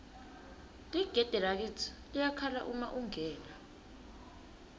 ligede lakitsi liyakhala uma ungena